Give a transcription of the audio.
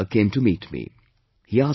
Once a folk singer came to meet me